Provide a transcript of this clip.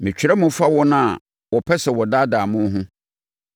Metwerɛ mo fa wɔn a wɔpɛ sɛ wɔdaadaa mo ho.